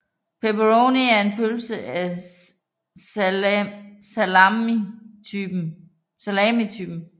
Pepperoni er en pølse af salamitypen